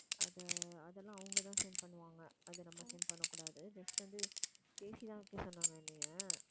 அதை அதெல்லாம் அவங்கதான் send பண்ணுவாங்க அதை நம்ம send பண்ணக் கூடாது just வந்து பேசி தான் வைக்க சொன்னாங்க என்னைய